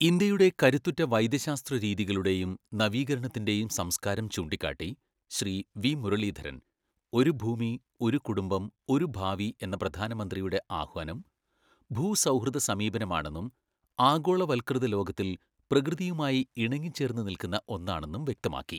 ഇന്ത്യയുടെ കരുത്തുറ്റ വൈദ്യശാസ്ത്രരീതികളുടെയും നവീകരണത്തിന്റെയും സംസ്കാരം ചൂണ്ടിക്കാട്ടി, ശ്രീ വി മുരളീധരൻ, ഒരു ഭൂമി, ഒരു കുടുംബം, ഒരു ഭാവി എന്ന പ്രധാനമന്ത്രിയുടെ ആഹ്വാനം ഭൂസൗഹൃദസമീപനമാണെന്നും ആഗോളവൽകൃതലോകത്തിൽ പ്രകൃതിയുമായി ഇണങ്ങിച്ചേർന്നു നിൽക്കുന്ന ഒന്നാണെന്നും വ്യക്തമാക്കി.